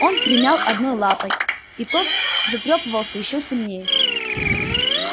он примял одного лапой и тот затрепыхался ещё сильнее